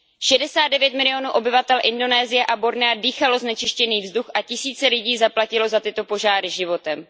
Šedesát devět milionů obyvatel Indonésie a Bornea dýchalo znečistěný vzduch a tisíce lidí zaplatilo za tyto požáry životem.